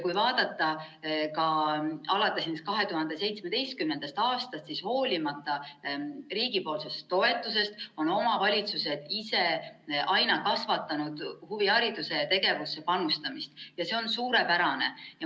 Kui vaadata ka alates 2017. aastast, siis hoolimata riigi toetusest on omavalitsused ise aina kasvatanud huviharidusse panustamist ja see on suurepärane.